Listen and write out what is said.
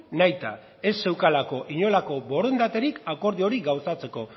nahita ez zeukalako inolako borondaterik akordio hori gauzatzeko